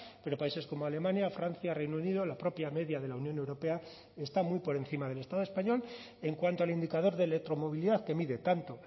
pero países como alemania francia reino unido la propia media de la unión europea está muy por encima del estado español en cuanto al indicador de electromovilidad que mide tanto